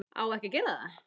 Á ekki að gera það.